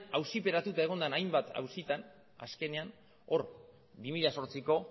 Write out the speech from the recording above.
auziperatuta egon den hainbat auzitan azkenean hor bi mila zortziko